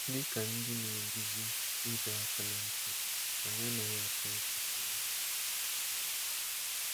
Dị ka ndị na-eguzi ịdọ aka ná ntị, anyị anaghị achọ ịtụfu ya.